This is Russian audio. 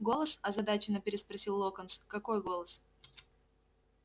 голос озадаченно переспросил локонс какой голос